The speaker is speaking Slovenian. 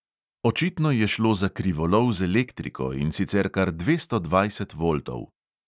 Očitno je šlo za krivolov z elektriko, in sicer kar dvesto dvajset voltov.